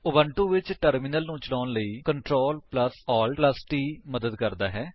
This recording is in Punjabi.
ਉਬੁੰਟੂ ਵਿੱਚ ਟਰਮਿਨਲ ਨੂੰ ਚਲਾਉਣ ਲਈ CTRLALTT ਮਦਦ ਕਰਦਾ ਹੈ